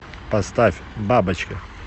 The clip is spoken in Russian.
поставь бабочка